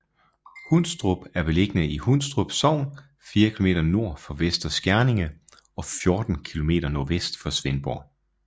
Hundstrup er beliggende i Hundstrup Sogn fire kilometer nord for Vester Skjerninge og 14 kilometer nordvest for Svendborg